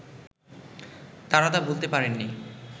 তারা তা ভুলতে পারেননি